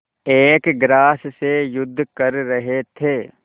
एक ग्रास से युद्ध कर रहे थे